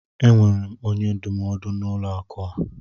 Enwere m onye ndụmọdụ n'ụlọ akụ a.